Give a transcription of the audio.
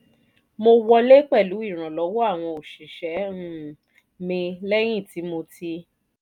mo wọlé pẹ̀lú ìrànlọ́wọ́ àwọn òṣìṣẹ́ um mi lẹ́yìn tí mo ti